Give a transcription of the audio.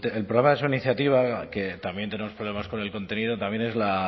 el programa de su iniciativa que también tenemos problemas con el contenido también es un